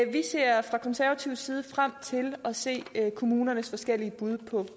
vi ser fra konservativ side frem til at se kommunernes forskellige bud på